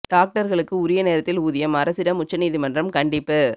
டாக்டர்களுக்கு உரிய நேரத்தில் ஊதியம் அரசிடம் உச்ச நீதிமன்றம் கண்டிப்பு